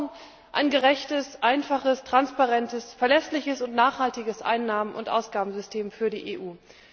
Wir brauchen ein gerechtes, einfaches, transparentes, verlässliches und nachhaltiges Einnahmen und Ausgabensystem für die EU.